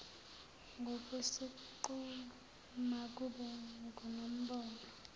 ngokwesiqu makube ngonombono